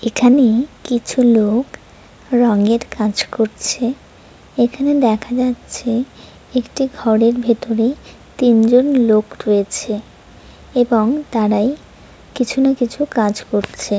এখানে কিছু লোক রঙের কাজ করছে। এখানে দেখা যাচ্ছে একটি ঘরের ভেতরে তিনজন লোক রয়েছে এবং তারাই কিছু না কিছু কাজ করছে।